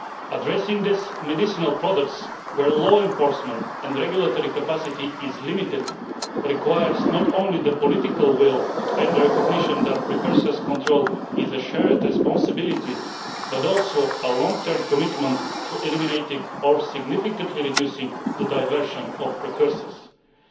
Addressing these medicinal products where law enforcement and regulatory capacity is limited requires not only the political will and recognition that precursors control is a shared responsibility, but also a long term commitment to eliminating or significantly reducing the diversion of precursors. Given